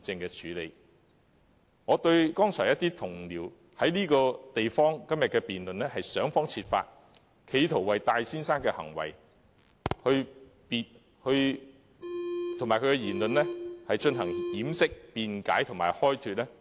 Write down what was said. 剛才有同事在今天的議案辯論中，想方設法為戴先生的行為和言論作出掩飾、辯解和開脫，我對此表示極度遺憾。